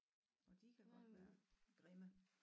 Og de kan godt være grimme